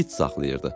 İt saxlayırdı.